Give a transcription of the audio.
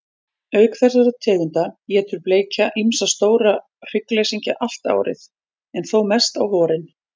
Auk þessara tegunda étur bleikja ýmsa stóra hryggleysingja allt árið, en þó mest á vorin.